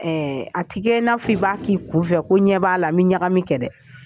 A tɛ kɛ i n'a fɔ i b'a k'i kun fɛ, ko ɲɛ b'a la, n bɛ ɲagami kɛ dɛ.